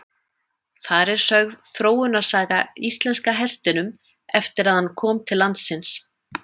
Þar er sögð þróunarsaga íslenska hestinum eftir að hann kom til landsins.